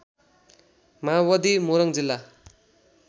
माओवादी मोरङ जिल्ला